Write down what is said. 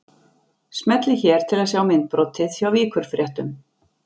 Smellið hér til að sjá myndbrotið hjá Víkurfréttum